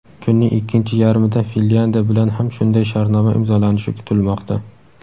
Kunning ikkinchi yarmida Finlyandiya bilan ham shunday shartnoma imzolanishi kutilmoqda.